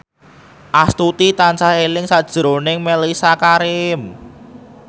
Astuti tansah eling sakjroning Mellisa Karim